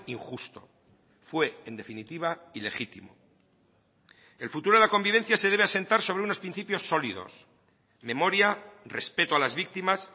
injusto fue en definitiva ilegitimo el futuro de la convivencia se debe asentar sobre unos principios sólidos memoria respeto a las víctimas